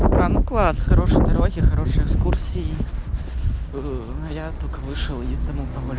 там класс хорошей дороги хорошие экскурсии я только вышел и дому